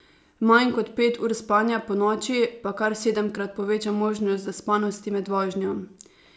Manj kot pet ur spanja ponoči pa kar sedemkrat poveča možnost zaspanosti med vožnjo.